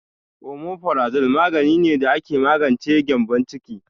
Omeprazole magani ne da ake magance gyembon ciki.